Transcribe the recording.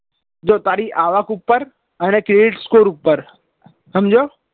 જો તારી આવક ઉપર અને credit score ઉપર સમજ્યો